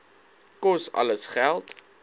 kos alles geld